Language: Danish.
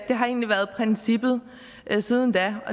egentlig været princippet siden da